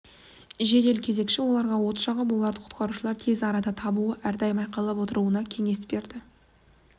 жедел кезекші оларға от жағып оларды құтқарушылар тез арада табуы әрдайым айқайлап отыруларына кеңес беріп